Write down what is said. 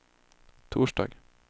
torsdag